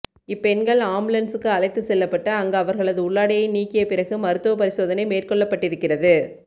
இப்பெண்கள் ஆம்புலன்சுக்கு அழைத்து செல்லப்பட்டு அங்கு அவர்களது உள்ளாடையை நீக்கிய பிறகு மருத்துவ பரிசோதனை மேற்கொள்ளப்பட்டிருக்கிறது